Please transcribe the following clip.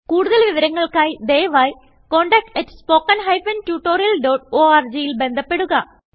കുടുതൽ വിവരങ്ങൾക്കായി ദയവായി contact at spoken hyphen tutorial dot orgൽ ബന്ധപ്പെടുക